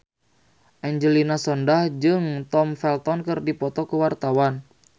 Angelina Sondakh jeung Tom Felton keur dipoto ku wartawan